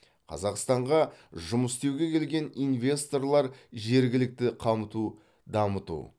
қазақстанға жұмыс істеуге келген инвесторлар жергілікті қамту дамыту